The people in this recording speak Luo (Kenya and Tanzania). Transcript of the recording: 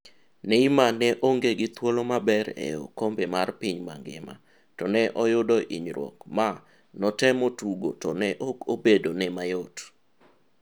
Neymar ne onge gi thuolo maber e okombe mar piny mangima to ne oyudo hinyruok ma notemo tugo to ne ok obedo ne mayot.